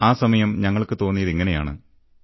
ആ സമയം ഞങ്ങൾക്ക് തോന്നിയതിങ്ങനെയാണ്